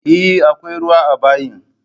Eh akwai ruwa a bayin